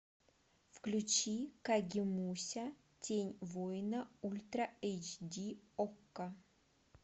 включи кагемуся тень воина ультра эйч ди окко